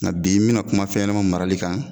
Nka bi n bɛna kuma fɛnɲɛnama marali kan